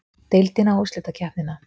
Deildina og úrslitakeppnina?